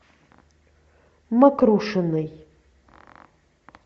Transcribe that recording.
мокрушиной